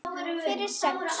Fyrir sex?